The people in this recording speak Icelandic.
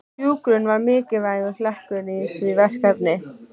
Hjúkrun var mikilvægur hlekkur í því verkefni.